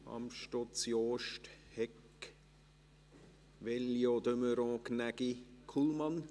Amstutz, Jost, Hegg, Veglio, de Meuron, Gnägi, Kullmann?